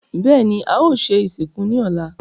Bẹ́ẹ̀ni, a o se ìsìnkú ní ọ̀la